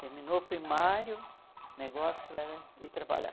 Terminou o primário, o negócio era ir trabalhar.